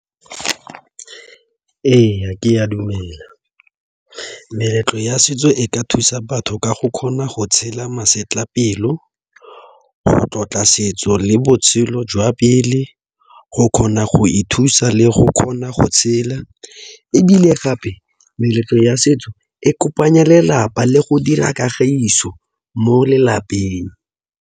Ee, ke a dumela meletlo ya setso e ka thusa batho ka go kgona go tshela masetlapelo, go tlotla setso le botshelo jwa pele, go kgona go ithusa le go kgona go tshela ebile gape meletlo ya setso e kopanya lelapa le go dira kagiso mo lelapeng.